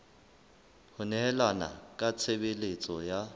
ho nehelana ka tshebeletso ya